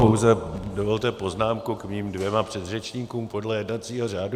Pouze dovolte poznámku k mým dvěma předřečníkům podle jednacího řádu.